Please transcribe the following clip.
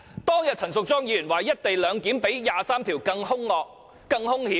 當天陳淑莊議員說"一地兩檢"較《基本法》第二十三條立法更兇惡、更兇險。